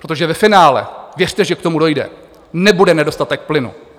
Protože ve finále, věřte, že k tomu dojde, nebude nedostatek plynu.